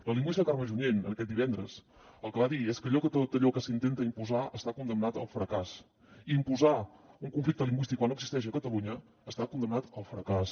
la lingüista carme junyent aquest divendres el que va dir és que tot allò que s’intenta imposar està condemnat al fracàs i imposar un conflicte lingüístic quan no existeix a catalunya està condemnat al fracàs